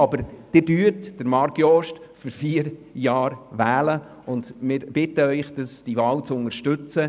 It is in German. Sie werden Marc Jost also für vier Jahre wählen, und wir bitten Sie, diese Wahl zu unterstützen.